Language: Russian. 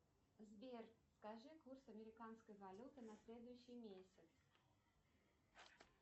сбер скажи курс американской валюты на следующий месяц